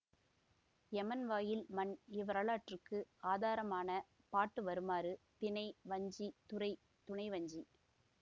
யமன் வாயில் மண் இவ்வரலாற்றுக்கு ஆதாரமான பாட்டு வருமாறு திணை வஞ்சி துறை துணைவஞ்சி